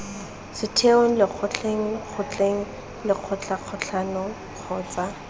setheong lekgotleng kgotleng lekgotlakatlholong kgotsa